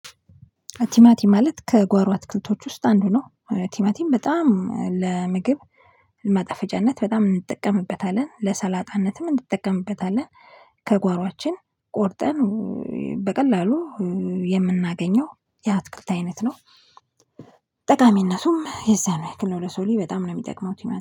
ቲማቲም ማለት ከጓሮ አትክልቶች ውስጥ አንዱ ነው። ቲማቲም በጣም ለምግብ ማጠፈጫነት በጣም እንጠቀምበታለን። ለሰላጣነትም እንጠቀምበታለን። ከጓሮአችን ቆርጠን በቀላሉ የምናገኘው የአትክልት አይነት ነው። ጠቃሚነቱም የዛኑ ያክል ነው ለሰው ልጅ በጣም ነው የሚጠቅመው ቲማ